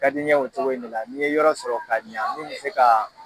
ka di n ye o cogo in ne la ni n ye yɔrɔ sɔrɔ ka ɲa min bɛ se ka